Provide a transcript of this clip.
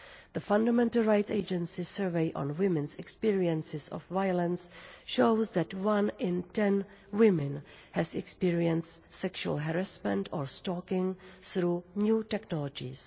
The Fundamental Rights Agency survey on women's experiences of violence shows that one in ten women has experienced sexual harassment or stalking through new technologies.